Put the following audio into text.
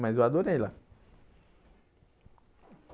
Mas eu adorei lá.